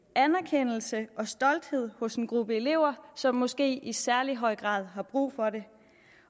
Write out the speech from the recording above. anerkendelse og stolthed hos en gruppe elever som måske i særlig høj grad har brug for det